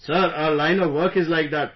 Sir, our line of work is like that